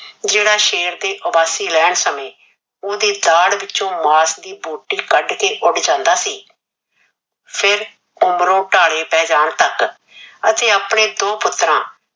ਜਿਹੜਾ ਸ਼ੇਰ ਦੇ ਉਬਾਸੀ ਲੈਣ ਸਮੇਂ ਉਹਦੇ ਦਾੜ ਵਿਚੋਂ ਮਾਸ ਦੀ ਬੋਟੀ ਕੱਢ ਕੇ ਉੱਡ ਜਾਂਦਾ ਸੀ। ਫਿਰ ਉਮਰੋਂ ਢਾਲੇ ਪੈਣ ਜਾਣ ਤੱਕ ਅਤੇ ਆਪਣੇ ਦੋ ਪੁੱਤਰਾਂ